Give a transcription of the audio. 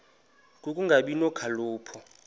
ku kungabi nokhalipho